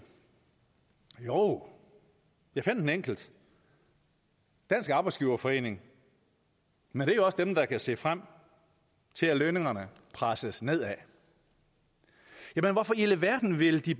jo jeg fandt en enkelt dansk arbejdsgiverforening men det er også dem der kan se frem til at lønningerne presses nedad hvorfor i alverden vil de